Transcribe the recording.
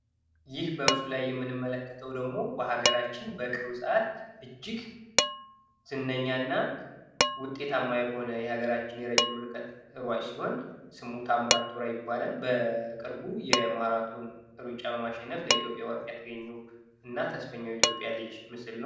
ይህ በምስሉ ላይ የምንመለከተው ደግሞ በሀገራችን በቅርብ ሰአት እጅግ ዝነኛ እና ውጤታማ የሆነ የሀገራችን የረጅም ርቀት ሯጭ ሲሆን ስሙ ታምራት ቶላ ይባላል። በቅርቡ የማራቶን ሩጫ በማሸነፍ ለኢትዮጵያ ወርቅ ያስገኘው እና ተስፈኛው የኢትዮጵያ ልጅ ምስል ነው።